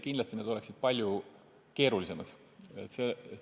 Kindlasti need oleksid palju keerulisemad.